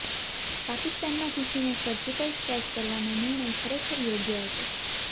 પાકિસ્તામાં ઘૂસીને surgical strike કરવાનો નિર્ણય ખરેખર યોગ્ય હતો